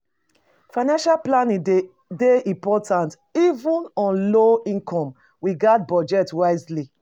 Financial planning dey important even on low income; we gats budget wisely.